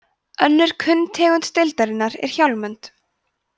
önnur kunn tegund deildarinnar er hjálmönd